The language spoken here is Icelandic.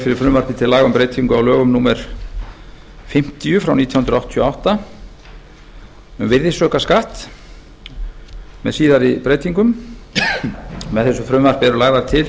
fyrir frumvarpi til laga um breytingu á lögum númer fimmtíu nítján hundruð áttatíu og átta um virðisaukaskatt með síðari breytingum með frumvarpinu eru lagðar til